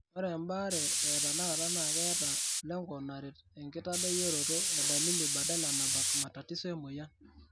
Ore embaare etenakata naa keeta lengo naret enkitadoyioroto e dalili badala nabak matatiso emoyia.